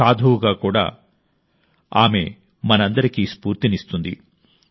సాధువుగా కూడా ఆమె మనందరికీ స్ఫూర్తినిస్తుంది